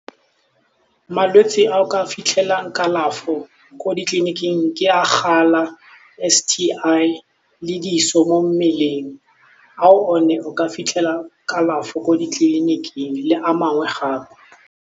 Malwetse a o ka fitlhela kalafo ko ditleliniking ke a gala, S_T_I le diso mo mmeleng ao one o ka fitlhela kalafo ko ditleliniking le a mangwe gape.